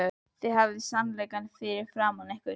Þið hafið sannleikann fyrir framan ykkur.